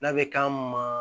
N'a bɛ k'an ma